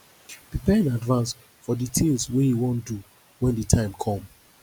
prepare in advance for the things wey you wan do when di time come